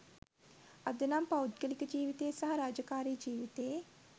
අද නම් පෞද්ගලික ජීවිතේ සහ රාජකාරී ජීවිතේ